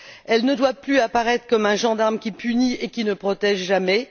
Elle ne doit plus apparaître comme un gendarme qui punit et qui ne protège jamais.